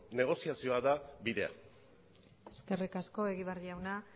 negoziazioa da bidea eskerrik asko egibar jauna